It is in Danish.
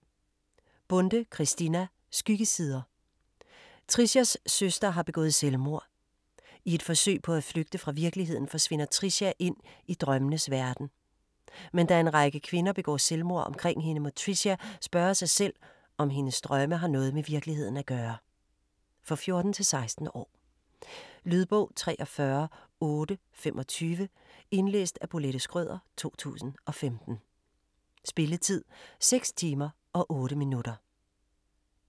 Bonde, Christina: Skyggesider Tricias søster har begået selvmord. I et forsøg på at flygte fra virkeligheden, forsvinder Tricia ind i drømmenes verden. Men da en række kvinder begår selvmord omkring hende, må Tricia spørge sig selv, om hendes drømme har noget med virkeligheden at gøre. For 14-16 år. Lydbog 43825 Indlæst af Bolette Schrøder, 2015. Spilletid: 6 timer, 8 minutter.